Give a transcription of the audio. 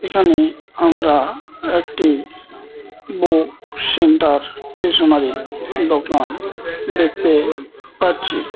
এখানে আমরা একটি বুক সেন্টার স্টেশনারি দোকান দেখতে পাচ্ছি।